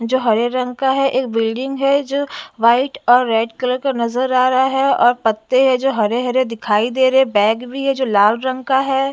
जो हरे रंग का है एक बिल्डिंग है जो व्हाईट और रेड कलर का नजर आ रहा है और पत्ते है जो हरे-हरे दिखाई दे रहे बैग भी है जो लाल रंग का है।